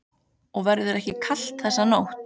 Og verður ekki kalt þessa nótt.